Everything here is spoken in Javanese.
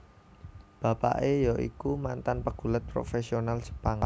Bapake ya iku mantan pegulat profesional Jepang